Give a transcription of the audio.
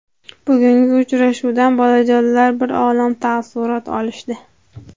Bugungi uchrashuvdan bolajonlar bir olam taassurot olishdi.